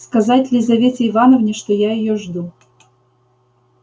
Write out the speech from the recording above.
сказать лизавете ивановне что я её жду